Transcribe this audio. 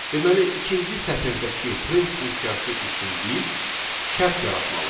Deməli, ikinci sətirdəki print funksiyası üçün biz şərt yaratmalıyıq.